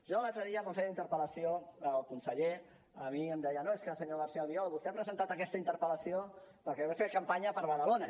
jo l’altre dia quan feia la interpel·lació al conseller a mi em deia no és que senyor garcía albiol vostè ha presentat aquesta interpel·lació perquè deu fer campanya per badalona